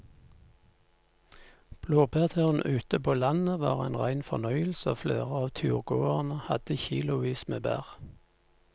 Blåbærturen ute på landet var en rein fornøyelse og flere av turgåerene hadde kilosvis med bær.